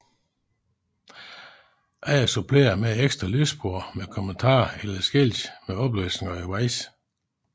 Andre supplerer med et ekstra lydspor med kommentarer eller skilte med oplysninger undervejs